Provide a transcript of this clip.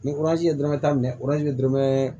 Ni ye dɔrɔmɛ tan minɛ ye dɔrɔnmɛ